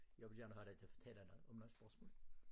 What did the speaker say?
Jeg vil gerne have dig til at fortælle noget om noget spørgsmål